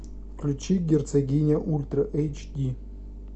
включи герцогиня ультра эйч ди